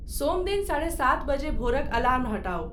सोमदिन साढ़े सात बजे भोरक अलार्म हटाउ।